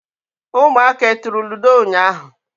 ụmụaka e turu ludo ụnyahụ?